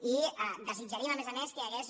i desitjaríem a més a més que hi hagués